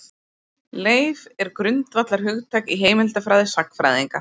Leif er grundvallarhugtak í heimildafræði sagnfræðinga.